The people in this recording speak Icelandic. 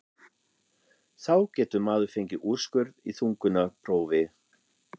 þá getur maður fengið úrskurð í þungunarprófi.